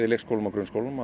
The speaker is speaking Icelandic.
leikskólum og grunnskólum